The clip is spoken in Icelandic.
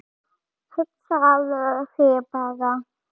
Hugsaðu þér bara!